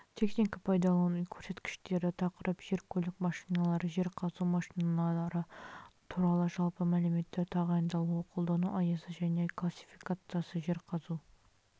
техника-пайдалану көрсеткіштері тақырып жер-көлік машиналары жер қазу машиналары туралы жалпы мәліметтер тағайындалуы қолдану аясы және классифициясы жер қазу